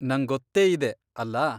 ನಂಗೊತ್ತೇ ಇದೆ, ಅಲ್ಲ?